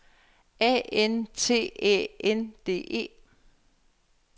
A N T Æ N D E